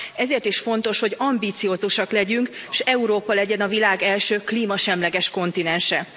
Ezért is fontos, hogy ambiciózusak legyünk, és Európa legyen a világ első klímasemleges kontinense.